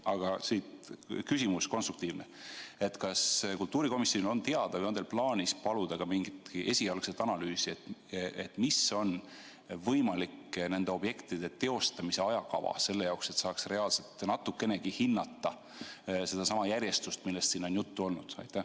Aga siit konstruktiivne küsimus: kas kultuurikomisjonil on teada mingi esialgne analüüs või on teil plaanis seda paluda, et mis on nende objektide teostamise võimalik ajakava, selle jaoks, et saaks reaalselt natukenegi hinnata seda järjestust, millest siin on juttu olnud?